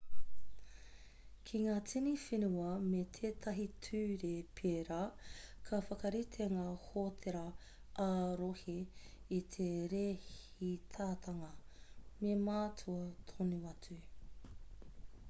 ki ngā tini whenua me tētahi ture pērā ka whakarite ngā hōtēra ā-rohe i te rēhitatanga me mātua tono atu